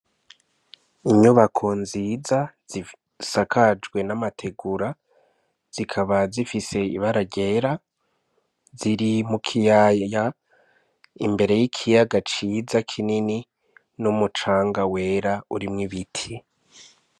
Inyubako nziza zisakajwe n'amategura zikaba zifise ibara ryera ziri mu kiyaya imbere y'ikiyaga ciza kinini n'umucanga wera urimwo ibiti.